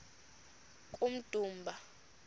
kummdumba